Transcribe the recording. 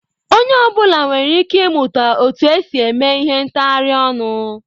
Onye ọ bụla nwere ike ịmụta otu esi eme ihe ntghari onu.